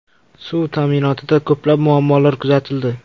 Suv ta’minotida ko‘plab muammolar kuzatildi.